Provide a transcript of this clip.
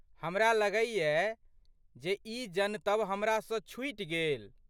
हमरा लगैयै जे ई जनतब हमरासँ छूटि गेल।